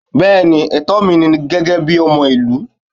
Bẹẹni, etó mí ní gégé bí ọmọ ilu